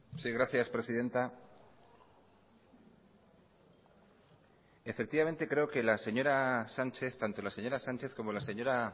sí gracias presidenta creo que tanto la señora sánchez como la señora